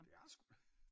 Det er sgu da